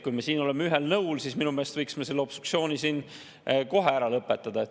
Kui me siin oleme ühel nõul, siis minu meelest võiksime selle obstruktsiooni kohe ära lõpetada.